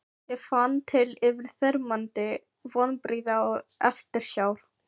Ég fann til yfirþyrmandi vonbrigða og eftirsjár.